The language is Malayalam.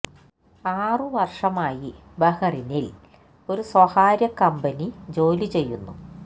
ആറ് വർഷമായി ബഹ്റൈനിൽ ഒരു സ്വകാര്യ കമ്പനി ജോലി ചെയ്യുന്നു